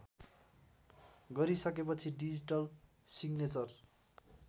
गरिसकेपछि digital signature